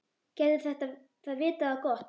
Gæti það vitað á gott?